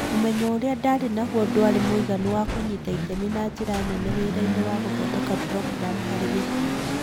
Ũmenyo ũrĩa ndaarĩ naguo ndwarĩ mũiganu wa kũnyita itemi na njĩra nene wĩra-inĩ wa gũthondeka programu harĩ gĩkundi